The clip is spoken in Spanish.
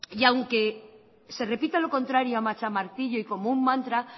y aunque se repita lo contrario a macha martillo y como un mantra